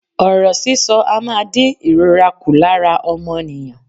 Ọ̀rọ̀ sísọ a máa dín ìrora ku lára ọmọnìyàn.